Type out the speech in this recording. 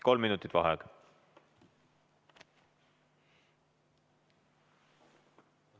Kolm minutit vaheaega.